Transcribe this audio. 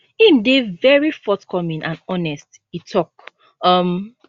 im dey very forthcoming and honest e tok um